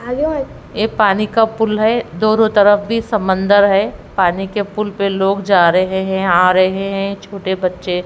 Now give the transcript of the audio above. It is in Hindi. ये पानी का पुल है दोनों तरफ भी समंदर है पानी के पुल पे लोग जा रहे हैं आ रहे हैं छोटे बच्चे--